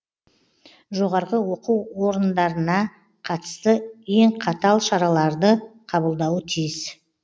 жоғарғы оқу орындарына қатысты ең қатал шараларды қабылдауы тиіс